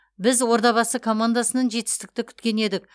біз ордабасы командасының жетістікті күткен едік